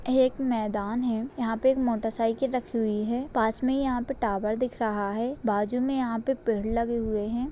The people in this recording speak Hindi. एक मैदान है यहाँ पे एक मोटर साइकिल रखी हुई है पास में यहाँ पर टावर दिख रहा है बाजू में यहाँ पे पेड़ लगे हुए है।